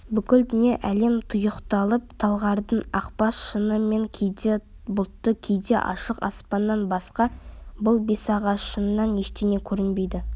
бүкіл дүние-әлем тұйықталып талғардың ақбас шыңы мен кейде бұлтты кейде ашық аспаннан басқа бұл бесағашыңнан ештеңе көрінбейді